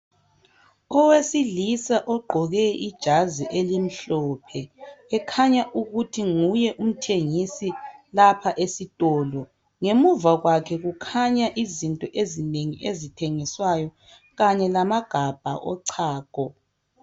Owesilisa ogqoke ijazi elimhlophe, ekhanya ukuthi nguye umthengisi lapha esitolo. Ngemuva kwakhe kukhanya izinto ezinengi ezithengiswayo kanye lamagabha ochago